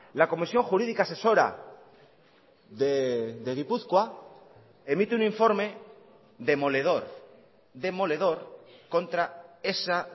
la comisión jurídica asesora de gipuzkoa emite un informe demoledor demoledor contra esa